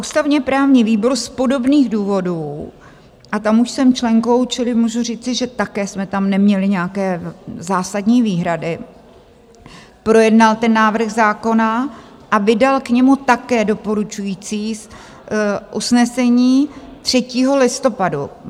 Ústavně-právní výbor z podobných důvodů - a tam už jsem členkou, čili můžu říci, že také jsme tam neměli nějaké zásadní výhrady - projednal ten návrh zákona a vydal k němu také doporučující usnesení 3. listopadu.